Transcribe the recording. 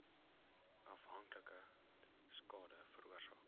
afhanklikheid skade veroorsaak